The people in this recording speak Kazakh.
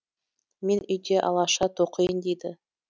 мен үйде алаша тоқиын дейді